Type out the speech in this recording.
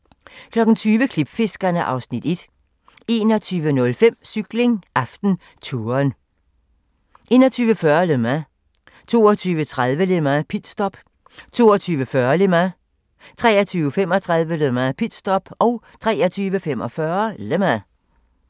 20:00: Klipfiskerne (Afs. 1) 21:05: Cykling: AftenTouren 21:40: Le Mans 22:30: Le Mans - pitstop 22:40: Le Mans 23:35: Le Mans - pitstop 23:45: Le Mans